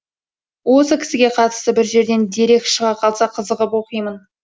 осы кісіге қатысты бір жерден дерек шыға қалса қызығып оқимын